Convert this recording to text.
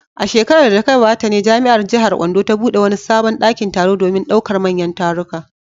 A shekarar da ta gabata ne jami’ar jihar Ondo ta bude wani sabon dakin taro domin daukar manyan taruka.